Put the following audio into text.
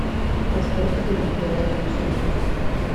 поставь фильм пляжная вечеринка